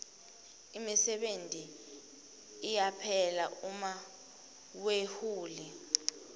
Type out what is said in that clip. imisebenti iyaphela uma wehule